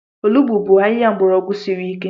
Olugbu bụ ahịhịa mgbọrọgwụ siri ike.